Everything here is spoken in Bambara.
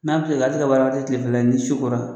N'a tilela ka baara kɛ kilefɛla la, ni su ko la